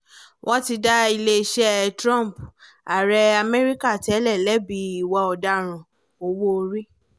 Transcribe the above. wọ́n ti dá iléeṣẹ́ trump ààrẹ amẹ́ríkà tẹ́lẹ̀ lẹ́bi ìwà ọ̀daràn owó orí